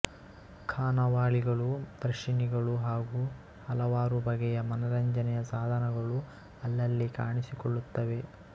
ಖಾನಾವಳಿಗಳು ದರ್ಶಿನಿಗಳು ಹಾಗೂ ಹಲವಾರುಬಗೆಯ ಮನರಂಜನೆಯ ಸಾಧನಗಳು ಅಲ್ಲಲ್ಲಿ ಕಾಣಿಸಿಕೊಳ್ಳುತ್ತವೆ